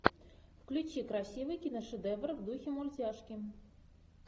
включи красивый киношедевр в духе мультяшки